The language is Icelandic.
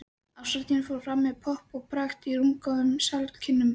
Árshátíðin fór fram með pomp og prakt í rúmgóðum salarkynnum